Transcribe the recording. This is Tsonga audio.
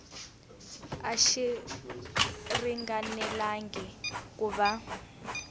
a xi ringanelangi ku va